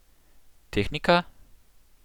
Tehnika?